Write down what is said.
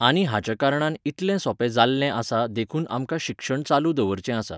आनी हाच्या कारणान इतलें सोंपें जाल्लें आसा देखून आमकां शिक्षण चालू दवरचें आसा.